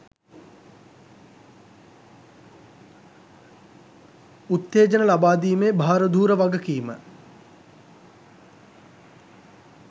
උත්තේජන ලබා දීමේ භාරධූර වගකීම